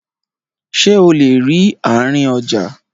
Ṣé o lè rí àárín ọjà?